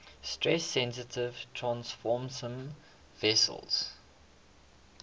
stress sensitive transfersome vesicles